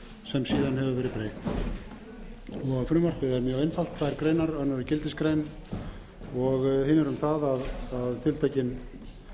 sem síðan hefur verið breytt frumvarpið er mjög einfalt tvær greinar önnur er gildisgrein og hin er um það að tiltekinn